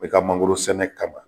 Bɛɛ ka mangoro sɛnɛ kama